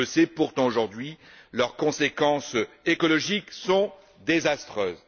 On le sait pourtant aujourd'hui, leurs conséquences écologiques sont désastreuses.